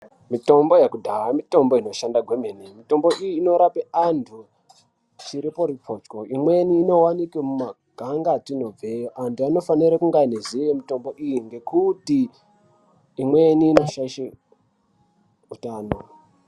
Mitombo yekudhaha mitombo inoshanda kwemene. Mitombo iyi Inorape antu chiriporipotyo. Imweni inowanike mumaganga atinobveyo. Antu anofanire kunge aineziye mitombo iyi ngekuti imweni inoshaishe utano.